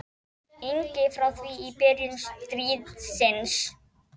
ingi frá því í byrjun stríðsins.